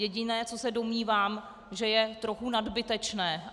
Jediné, co se domnívám, že je trochu nadbytečné.